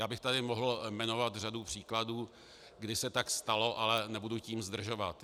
Já bych tady mohl jmenovat řadu příkladů, kdy se tak stalo, ale nebudu tím zdržovat.